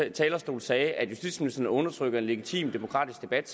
talerstol sagde at justitsministeren undertrykker en legitim demokratisk debat